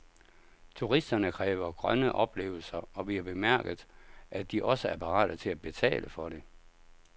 Turisterne kræver grønne oplevelser, og vi har bemærket, at de også er parate til at betale for det.